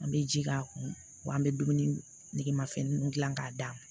An bɛ ji k'a kun wa an bɛ dumuni nege ma fɛnnin ninnu dilan k'a d'a